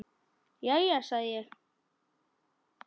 Jæja, sagði ég.